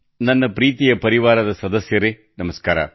ನನ್ನ ಪ್ರೀತಿಯ ಪರಿವಾರದವರೆ ನಮಸ್ಕಾರ